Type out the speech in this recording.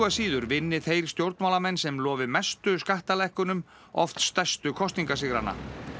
síður vinni þeir stjórnmálamenn sem lofi mestu skattalækkunum oft stærstu kosningasigrana